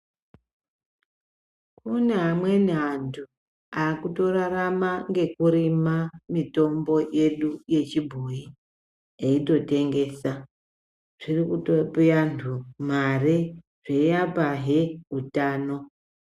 Kune amweni antu aakutorarama ngekurima mitombo yedu yechibhoyi, eitotengesa. Zviri kutope antu mare, zveiapahe utano.